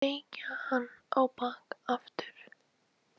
Kneikja hann á bak aftur.